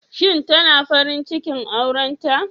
Shin tana farin cikin aurenta?